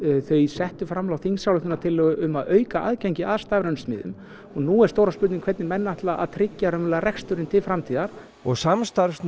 þau settu fram þingsályktunartillögu um að auka aðgengi að stafrænum smiðjum og nú er stóra spurningin hvernig menn ætla að tryggja reksturinn til framtíðar samstarfsnet